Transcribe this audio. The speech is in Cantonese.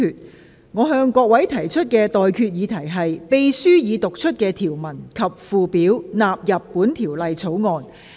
我現在向各位提出的待決議題是：秘書已讀出的條文及附表納入本條例草案。